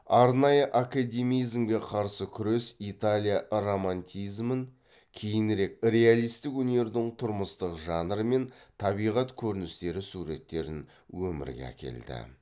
арнайы академизмге қарсы күрес италия романтизмін кейінірек реалистік өнердің тұрмыстық жанры мен табиғат көріністері суреттерін өмірге әкелді